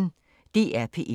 DR P1